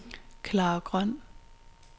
Klara Grøn